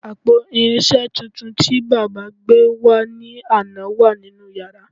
Àpò irinṣẹ́ tuntun tí baba gbé wá ní àná wà nínú yàrá